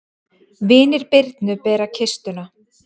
Vinir Birnu bera kistuna.